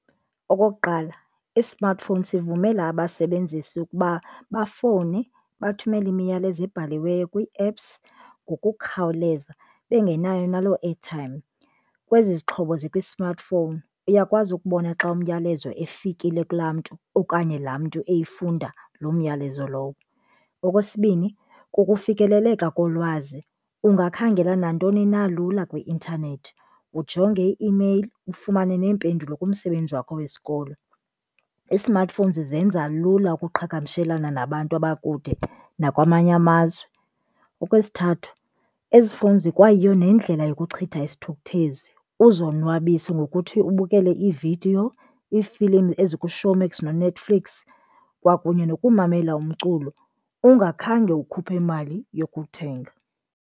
Okokuqala i-smartphone sivumela abasebenzisi ukuba bafowune, bathumele imiyalezo ebhaliweyo kwii-apps ngokukhawuleza bengenayo naloo airtime. Kwezi zixhobo zikwi-smartphone, uyakwazi ukubona xa umyalezo ufikile kulaa mntu okanye laa mntu eyifunda loo myalezo lowo. Okwesibini, kukufikeleleka kolwazi. Ungakhangela nantoni na lula kwi-intanethi, ujonge ii-imeyile, ufumane neempendulo kumsebenzi wakho wesikolo. I-smartphones zenza lula ukuqhagamshelana nabantu abakude nakwamanye amazwe. Okwesithathu, ezifowuni zikwayiyo nendlela yokuchitha isithukuthezi. Uzonwabise ngokuthi ubukele iividiyo, iifilimu ezikuShowmax noNetflix kwakunye nokumamela umculo ungakhange ukhuphe mali yokuthenga.